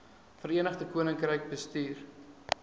verenigde koninkryk bestuur